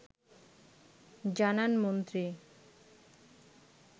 জানান মন্ত্রী